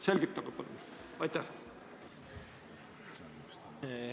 Selgitage palun!